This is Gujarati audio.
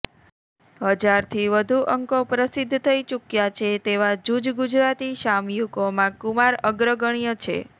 હજારથી વધુ અંકો પ્રસિદ્ધ થઈ ચૂક્યા છે તેવા જૂજ ગુજરાતી સામયિકોમાં કુમાર અગ્રગણ્ય છે